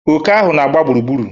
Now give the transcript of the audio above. Oke ahụ na-agba gburugburu.